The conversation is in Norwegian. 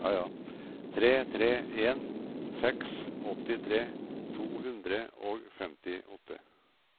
tre tre en seks åttitre to hundre og femtiåtte